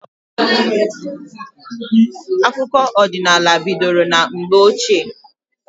Akụkọ ọdịnala bidoro na mgbe ochie.